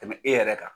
Tɛmɛ e yɛrɛ kan